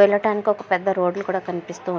వెళ్ళటానికి ఒక పెద్ద రోడ్డు కుడా కనిపిస్తునాయి.